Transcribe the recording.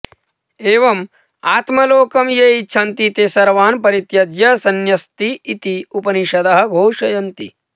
एवम् आत्मलोकं ये इच्छन्ति ते सर्वान् परित्यज्य संन्यस्यति इति उपनिषदः घोषयन्ति